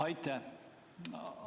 Aitäh!